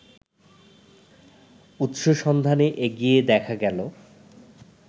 উৎস সন্ধানে এগিয়ে দেখা গেলো